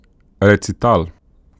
Recital.